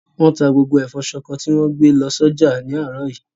Wọ́n ta gbogbo ẹ̀fọ́ ṣọkọ tì wọ́n gbé lọ sọ́jà ní àárọ̀ yìí.